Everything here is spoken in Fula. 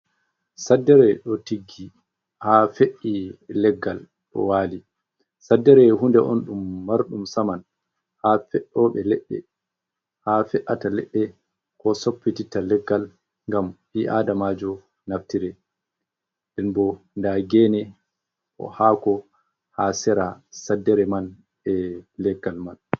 Saddere ɗo tiggi haa fe’i leggal waali. Saddere huunde on ɗum marɗum saman haa fe’ooɓe leɗɗe koo soffititta leggal ngam ɓii aadamaajo naftira nden boo nda geene haako ha sera saddere man e leggal man.